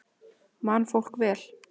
Man fólk vel?